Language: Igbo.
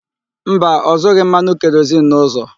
Mba, ọ zụghị mmanụ kerozin n'ụzọ.